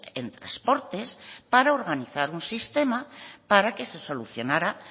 en transportes para organizar un sistema para que se solucionara